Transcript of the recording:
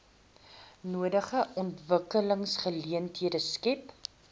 nodige ontwikkelingsgeleenthede skep